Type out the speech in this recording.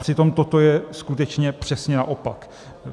Přitom toto je skutečně přesně naopak.